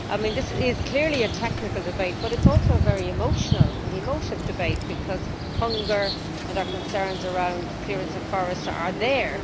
This is clearly a technical debate, but it is also a very emotional and emotive debate, because hunger and our concerns around clearance of forest are there.